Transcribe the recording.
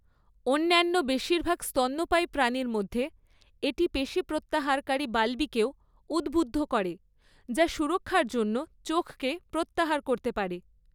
অন্যান্য বেশিরভাগ স্তন্যপায়ী প্রাণীর মধ্যে, এটি পেশী প্রত্যাহারকারী বালবিকেও উদ্বুদ্ধ করে, যা সুরক্ষার জন্য চোখকে প্রত্যাহার করতে পারে।